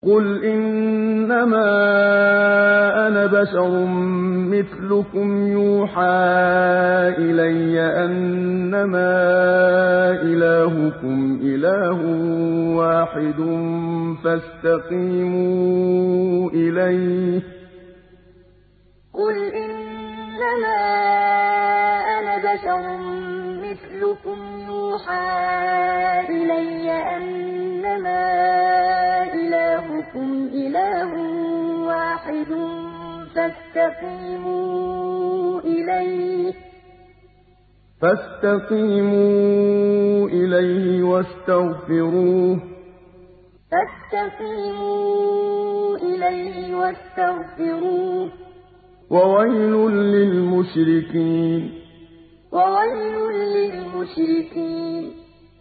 قُلْ إِنَّمَا أَنَا بَشَرٌ مِّثْلُكُمْ يُوحَىٰ إِلَيَّ أَنَّمَا إِلَٰهُكُمْ إِلَٰهٌ وَاحِدٌ فَاسْتَقِيمُوا إِلَيْهِ وَاسْتَغْفِرُوهُ ۗ وَوَيْلٌ لِّلْمُشْرِكِينَ قُلْ إِنَّمَا أَنَا بَشَرٌ مِّثْلُكُمْ يُوحَىٰ إِلَيَّ أَنَّمَا إِلَٰهُكُمْ إِلَٰهٌ وَاحِدٌ فَاسْتَقِيمُوا إِلَيْهِ وَاسْتَغْفِرُوهُ ۗ وَوَيْلٌ لِّلْمُشْرِكِينَ